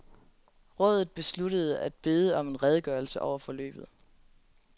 Rådet besluttede at bede om en redegørelse over forløbet.